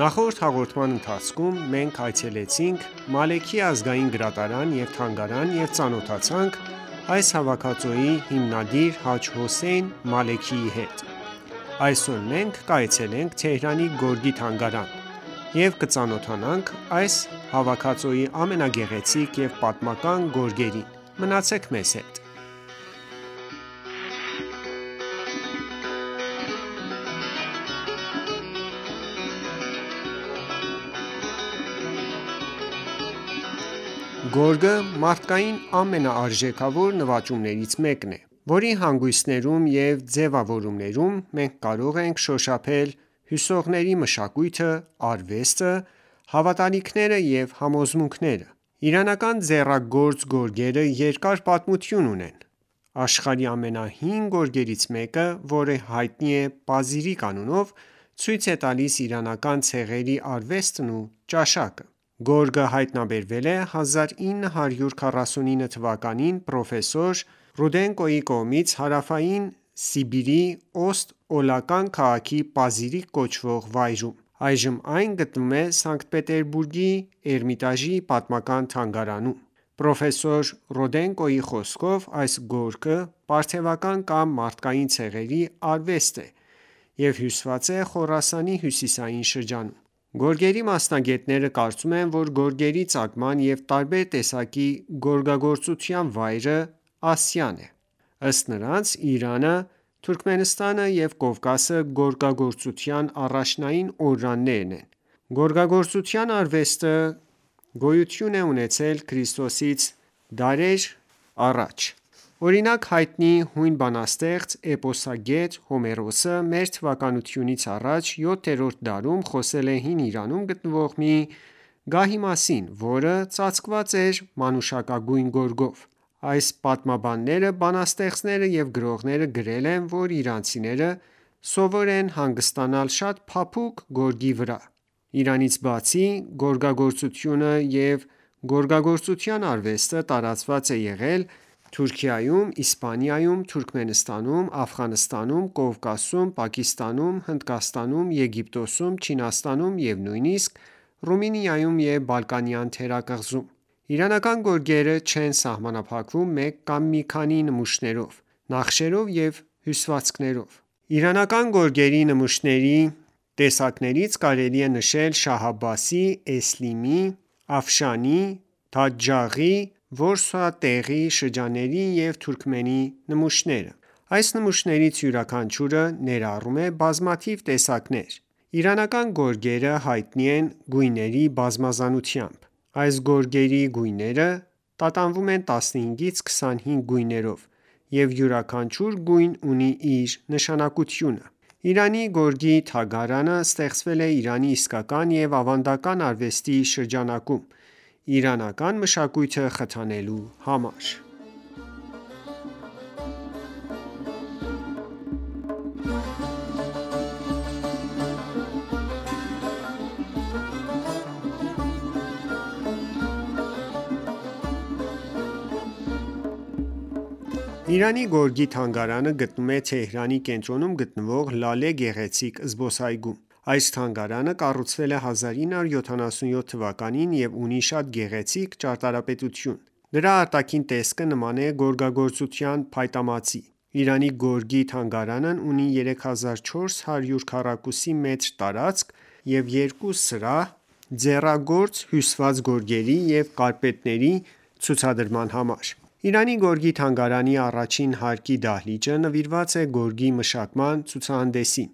Նախորդ հաղորդման ընթացքում մենք այցելեցինք «Մալեքի ազգային գրադարան և թանգարան և ծանոթացանք այս հավաքածուի հիմնադիր Հաջ Հոսեյն Մալեքիի հետ: Այսօր մենք կայցելենք Թեհրանի «Գորգի թանգարան» և կծանոթանանք այս հավաքածուի ամենագեղեցիկ և պատմական գորգերին: Մնացեք մեզ հետ: Գորգը մարդկության ամենարժեքավոր նվաճումներից մեկն է, որի հանգույցներում և ձևավորումներում մենք կարող ենք շոշափել հյուսողների մշակույթը, արվեստը, հավատալիքները և համոզմունքները: Իրանական ձեռագործ գորգերը երկար պատմություն ունեն: Աշխարհի ամենահին գորգերից մեկը, որը հայտնի է «Պազիրիկ» անունով, ցույց է տալիս իրանական ցեղերի արվեստն ու ճաշակը: Գորգը հայտնաբերվել է 1949 թ.-ին պրոֆեսոր Ռուդենկոյի կողմից Հարավային Սիբիրի Օստ Օլական քաղաքի Պազիրիկ կոչվող վայրում: Այժմ այն գտնվում է Սանկտ Պետերբուրգի Էրմիտաժի պետական թանգարանում: Պրոֆեսոր Ռուդենկոյի խոսքով ՝ այս գորգը պարթեւական կամ մարական ցեղերի արվեստ է և հյուսված է Խորասանի հյուսիսային շրջանում: Գորգերի մասնագետները կարծում են, որ գորգերի ծագման և տարբեր տեսակի գորգագործության վայրը Ասիան է: Ըստ նրանց ՝ Իրանը, Թուրքմենստանը և Կովկասը գորգագործության առաջնային օրրաններն են: Գորգագործության արվեստը գոյություն է ունեցել Քրիստոսից դարեր առաջ: Օրինակ՝ հայտնի հույն բանաստեղծ և էպոսագետ Հոմերոսը, մ.թ.ա. VII դարում խոսել է հին Իրանում գտնվող մի գահի մասին, որը ծածկված էր մանուշակագույն գորգով: Այլ պատմաբաններ, բանաստեղծներ և գրողներ գրել են, որ իրանցիները սովոր են հանգստանալ շատ փափուկ գորգերի վրա: Իրանից բացի, գորգագործությունը և գորգագործության արվեստը տարածված է եղել Թուրքիայում, Իսպանիայում, Թուրքմենստանում, Աֆղանստանում, Կովկասում, Պակիստանում, Հնդկաստանում, Եգիպտոսում, Չինաստանում և նույնիսկ Ռումինիայում և Բալկանյան թերակղզում: Իրանական գորգերը չեն սահմանափակվում մեկ կամ մի քանի նմուշներով, նախշերով և հյուսվածքներով: Իրանական գորգերի նմուշների տեսակներից կարելի է նշել՝ Շահ Աբբասի, Էսլիմի, Աֆշանի, Բաթեհ Ջաղեի, որսատեղիի, շրջանակի և թուրքմենի նմուշները: Այս նմուշներից յուրաքանչյուրը ներառում է բազմաթիվ տեսակներ: Իրանական գորգերը հայտնի են գույների բազմազանությամբ: Այս գորգերի գույները տատանվում են 15-ից 25 գույներով և յուրաքանչյուր գույն ունի իր նշանակությունը: Իրանի գորգերի թանգարանը ստեղծվել է Իրանի իսկական և ավանդական արվեստի շրջանակոմ, իրանական մշակույթը խթանելու համար: Իրանի գորգի թանգարանը գտնվում է Թեհրանի կենտրոնում գտնվող «Լալե» գեղեցիկ զբոսայգում: Այս թանգարանը կառուցվել է 1977 թվականին և ունի շատ գեղեցիկ ճարտարապետություն: Դրա արտաքին տեսքը նման է գորգագործության փայտամածի: Իրանի գորգի թանգարանն ունի 3400 քառակուսի մետր տարածք և երկու սրահ՝ ձեռագործ հյուսված գորգերի և կարպետների ցուցադրման համար: Իրանի գորգի թանգարանի առաջին հարկի դահլիճը նվիրված է գորգի մշտական ցուցահանդեսին,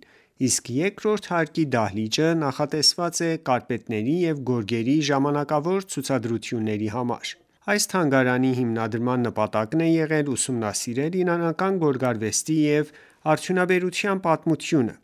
իսկ երկրորդ հարկի դահլիճը նախատեսված է կարպետների և գորգերի ժամանակավոր ցուցադրությունների համար:Այս թանգարանի հիմնադրման նպատակն է եղել ուսումնասիրել իրանական գորգարվեստի և արդյունաբերության պատմությունը,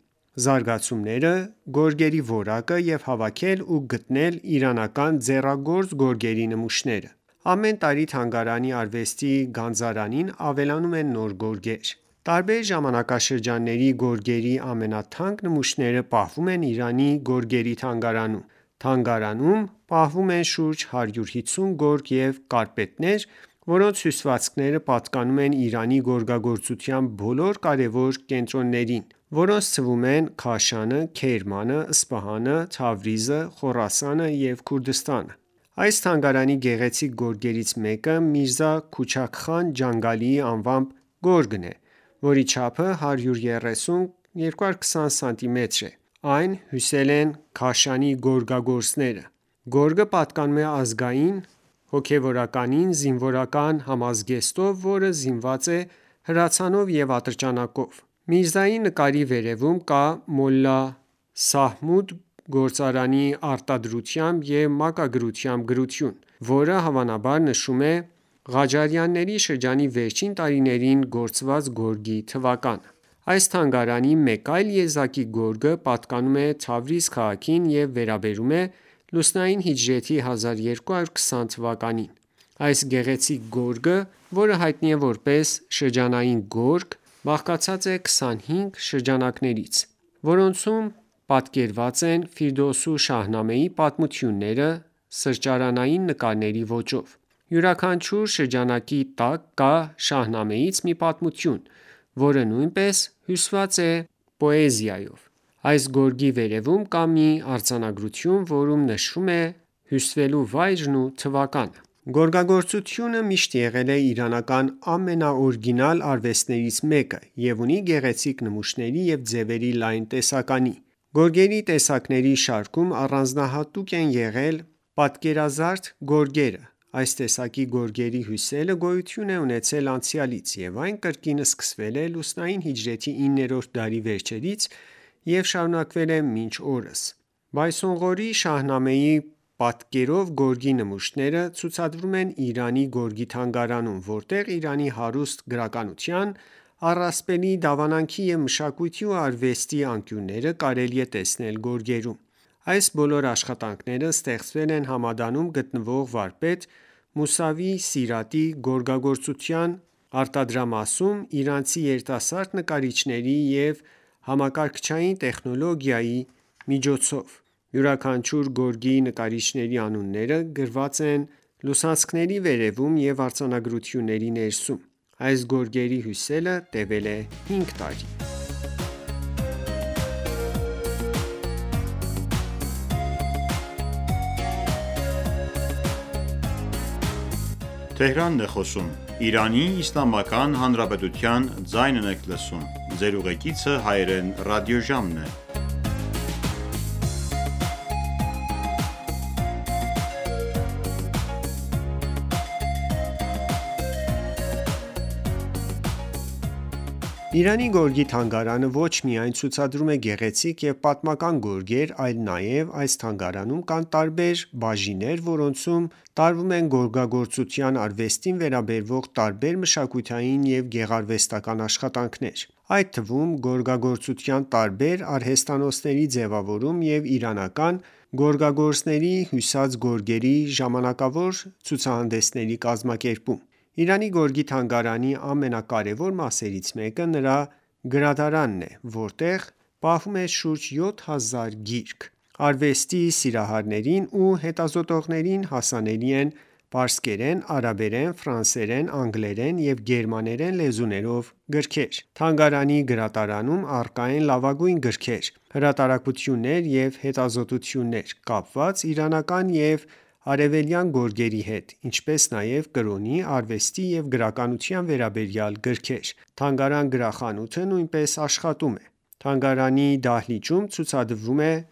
զարգացումները, գորգերի որակը և հավաքել ու գնել իրանական ձեռագործ գորգերի նմուշները;: Ամեն տարի թանգարանի արվեստի գանձարանին ավելանում են նոր գորգեր: Տարբեր ժամանակաշրջանների գորգերի ամենաթանկ նմուշները պահվում են Իրանի գորգերի թանգարանում: Թանգարանում պահվում են շուրջ 150 գորգեր և կարպետներ, որոնց հյուսվածքները պատկանում են Իրանի գորգագործության բոլոր կարևոր կենտրոններին, որոնց թվում են՝ Քաշանը, Քերմանը, Սպահանը, Թավրիզը, Խորասանը և Քուրդիստանը: Այս թանգարանի գեղեցիկ գորգերից մեկը Միրզա Քուչաք խան Ջանգալիի անվամբ գորգն է, որի չափը 130x220 սմ է, այն հյուսել են Քաշանի գորգագործները: Գորգը պատկերում է ազգային հոգևորականին զինվորական համազգեստով, որը զինված է հրացանով և ատրճանակով: Միրզայի նկարի վերևում կա «Մոլլա Մահմուդ» գործարանի արտահայտությամբ և մակագրությամբ գրություն, որը հավանաբար նշում է Ղաջարյանների շրջանի վերջին տարիներին գործված գորգի թվականը: Այս թանգարանի մեկ այլ եզակի գորգը պատկանում է Թավրիզ քաղաքին և վերաբերում է լուսնային հիջրեթի 1220 թվականին: Այս գեղեցիկ գորգը, որը հայտնի է որպես շրջանակային գորգ, բաղկացած է 25 շրջանակներից, որոնցում պատկերված են Ֆիրդուսու Շահնամեի պատմությունները՝ սրճարանային նկարների ոճով: Յուրաքանչյուր շրջանակի տակ կա Շահնամեից մի պատմություն, որը նույնպես հյուսված է պոեզիայով: Այս գորգի վերևում կա մի արձանագրություն, որում նշվում է դրա հյուսվելու վայրն ու թվականը: Գորգագործությունը միշտ եղել է իրանական ամենաօրիգինալ արվեստներից մեկը և ունի գեղեցիկ նմուշների և ձևերի լայն տեսականի: Գորգերի տեսակների շարքում առանձնահատուկ տեղ են զբաղեցնում պատկերազարդ գորգերը: Այս տեսակի գորգերի հյուսելը գոյություն է ունեցել անցյալից, և այն կրկին սկսվել է լուսնային հիջրեթի 9-րդ դարի վերջերից և շարունակվել է մինչ օրս: Բայսոնղորիի Շահնամեի պատկերով գորգերի նմուշները ցուցադրվում են Իրանի գորգերի թանգարանում, որտեղ Իրանի հարուստ գրականության, առասպելի, դավանանքի և մշակույթի ու արվեստի անկյունները կարելի է տեսնել գորգերում: Այս բոլոր աշխատանքները ստեղծվել են Համադանում գտնվող վարպետ Մուսավի Սիրատի գորգագործության արտադրամասում, իրանցի երիտասարդ նկարիչների և համակարգչային տեխնոլոգիայի միջոցով: Յուրաքանչյուր գորգի նկարիչների անունները գրված են լուսանցքների վերևում և արձանագրությունների ներսում: Այս գորգերի հյուսելը տևել է 5 տարի: Իրանի գորգի թանգարանը ոչ միայն ցուցադրում է գեղեցիկ և պատմական գորգեր, այլ նաև այս թանգարանում կան տարբեր բաժիններ, որոնցում տարվում են գորգագործության արվեստին վերաբերող տարբեր մշակութային և գեղարվեստական աշխատանքներ: Այդ թվում գորգագործության տարբեր արհեստանոցների ձևավորում և իրանական գորգագործների հյուսած գորգերի ժամանակավոր ցուցահանդեսների կազմակերպում: Իրանի գորգի թանգարանի ամենակարևոր մասերից մեկը նրա գրադարանն է, որտեղ պահվում է շուրջ 7000 գիրք: Արվեստի սիրահարներին ու հետազոտողներին հասանելի են պարսկերեն, արաբերեն, ֆրանսերեն, անգլերեն և գերմաներեն լեզուներով գրքեր: Թանգարանի գրադարանում առկա են լավագույն գրքեր, հրատարակություններ ու հետազոտություններ՝ կապված իրանական և արևելյան գորգերի հետ, ինչպես նաև կրոնի, արվեստի և գրականության վերաբերյալ գրքեր: Թանգարան գրախանութը նույնպես աշխատում է: Թանգարանների դահլիճում ցուցադրվում են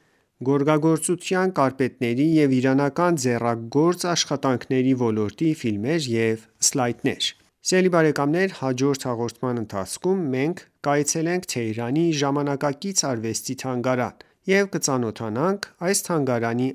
գորգագործության, կարպետների և իրանական ձեռագործ աշխատանքների ոլորտի ֆիլմեր և սլայդներ: Հաջորդ հաղորդման ընթացքում մենք կայցելենք «Թեհրանի ժամանակակից արվեստի թանգարան» և կծանոթանանք այս թանգարանի